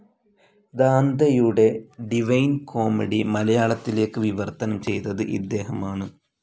ദാന്തെയുടെ Divine Comedy മലയാളത്തിലേക്ക് വിവർത്തനം ചെയ്തത് ഇദ്ദേഹമാണ്.